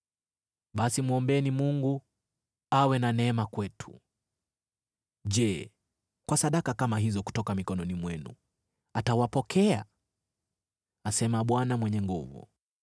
“Basi mwombeni Mungu awe na neema kwetu. Je, kwa sadaka kama hizo kutoka mikononi mwenu, atawapokea?” asema Bwana Mwenye Nguvu Zote.